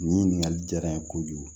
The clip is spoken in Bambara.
Nin ɲininkali jara n ye kojugu